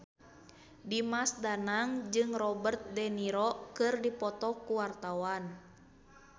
Dimas Danang jeung Robert de Niro keur dipoto ku wartawan